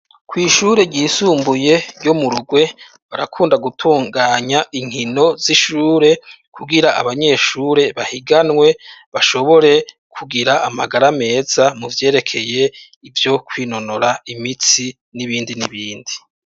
Kw' ishure ryisumbuye ryo Murugwe ,barakunda gutunganya inkino z'ishure, kugira abanyeshure bahiganwe bashobore kugira amagara meza, mu vyerekeye ivyo kwinonora imitsi n'ibindi n'ibindi.